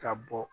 Ka bɔ